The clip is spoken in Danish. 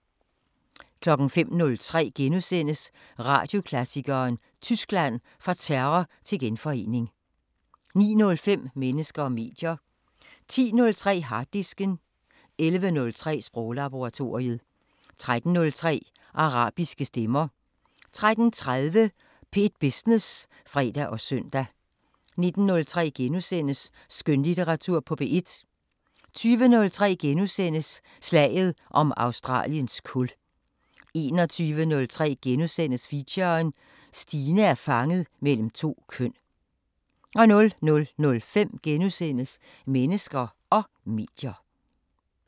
05:03: Radioklassikeren: Tyskland – Fra terror til genforening * 09:05: Mennesker og medier 10:03: Harddisken 11:03: Sproglaboratoriet 13:03: Arabiske Stemmer 13:30: P1 Business (fre og søn) 19:03: Skønlitteratur på P1 * 20:03: Slaget om Australiens kul * 21:03: Feature: Stine er fanget mellem to køn * 00:05: Mennesker og medier *